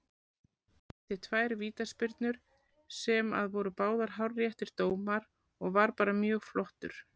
Dæmdi tvær vítaspyrnur sem að voru báðir hárréttir dómar og var bara mjög flottur.